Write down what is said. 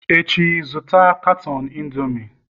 Echi, zụta katọn Indomie!